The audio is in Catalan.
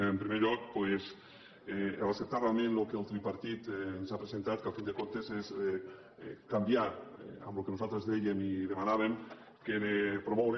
en primer lloc doncs acceptar realment el que el tripartit ens ha presentat que al cap i a la fi és canviar en el que nosaltres dèiem i demanàvem que era promoure